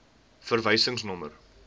verwysingsnommer